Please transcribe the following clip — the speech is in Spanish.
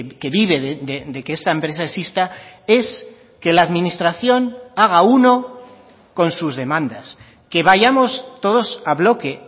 que vive de que esta empresa exista es que la administración haga uno con sus demandas que vayamos todos a bloque